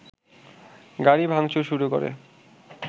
গাড়ি ভাংচুর শুরু করে